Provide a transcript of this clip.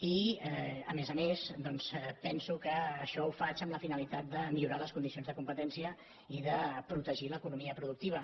i a més a més doncs penso que això ho faig amb la finalitat de millorar les condicions de competència i de protegir l’economia productiva